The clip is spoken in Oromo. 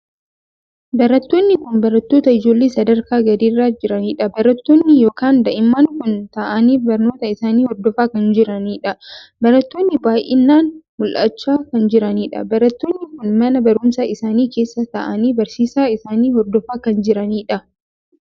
Barattoonni kun barattoota ijoollee sadarkaa gadii irra jiraniidha. barattoonni ykn daa'imman kun taa'aanii barnoota isaanii hordofaa kan jiraniidha. barattoonni baay'inaan mul"achaa kan jiraniidha. barattoonni kun mana barumsaa isaanii keessa taa'aanii barsiisaa isaanii hordofaa kan jiraniidha.